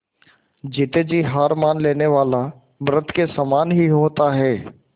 जीते जी हार मान लेने वाला मृत के ही समान होता है